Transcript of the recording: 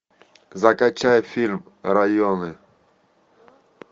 закачай фильм районы